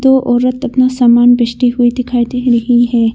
दो औरत अपना सामान बेचती हुई दिखाई दे रही है।